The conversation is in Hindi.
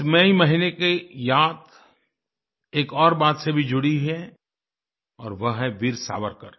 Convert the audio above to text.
इस मई महीने की याद एक और बात से भी जुड़ी है और वो है वीर सावरकर